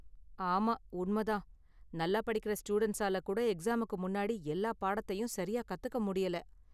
ஆமா, உண்மை தான், நல்லா படிக்கற ஸ்டூடண்ட்ஸால கூட எக்ஸாமுக்கு முன்னாடி எல்லா பாடத்தையும் சரியா கத்துக்க முடியல.